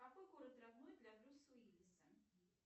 какой город родной для брюса уиллиса